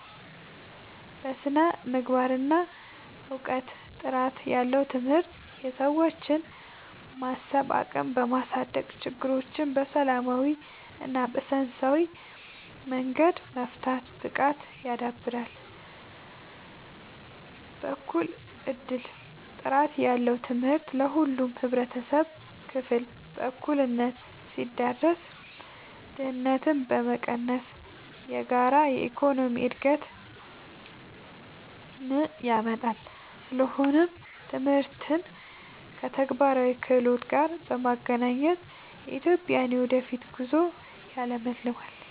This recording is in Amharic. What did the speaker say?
በስነ-ምግባርና እውቀት፦ ጥራት ያለው ትምህርት የሰዎችን የማሰብ አቅም በማሳደግ፣ ችግሮችን በሰላማዊና በሳይንሳዊ መንገድ የመፍታት ብቃትን ያዳብራል። በእኩል እድል፦ ጥራት ያለው ትምህርት ለሁሉም የህብረተሰብ ክፍል በእኩልነት ሲዳረስ፣ ድህነትን በመቀነስ የጋራ የኢኮኖሚ እድገትን ያመጣል። ስለሆነም ትምህርትን ከተግባራዊ ክህሎት ጋር ማገናኘት የኢትዮጵያን የወደፊት ጉዞ ያለምልማል።